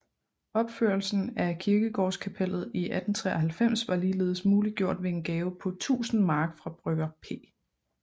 Opførelsen af kirkegårdskapellet i 1893 var ligeledes muliggjort ved en gave på 10000 mark fra brygger P